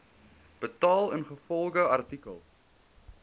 betaal ingevolge artikel